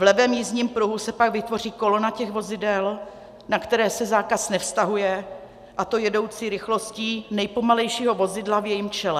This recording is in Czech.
V levém jízdním pruhu se pak vytvoří kolona těch vozidel, na která se zákaz nevztahuje, a to jedoucí rychlostí nejpomalejšího vozidla v jejím čele.